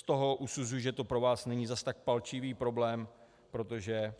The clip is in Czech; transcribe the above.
Z toho usuzuji, že to pro vás není zas tak palčivý problém, protože